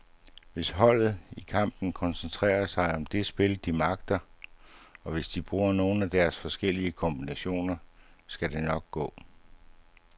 Hvis holdet i kampen koncentrerer sig om det spil, de magter, og hvis de bruger nogle af deres forskellige kombinationer, så skal det nok gå.